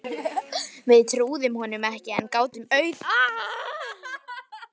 Við trúðum honum ekki en gátum auð